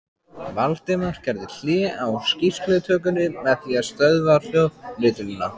Valdimar gerði hlé á skýrslutökunni með því að stöðva hljóðritunina.